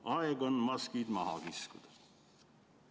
Aeg on maskid maha kiskuda.